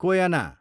Koyna